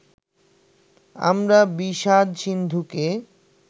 আমরা বিষাদ-সিন্ধুকে